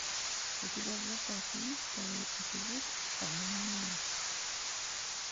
у тебя в запасе есть второй эпизод обмани меня